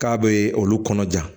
K'a bɛ olu kɔnɔ ja